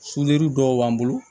dɔw b'an bolo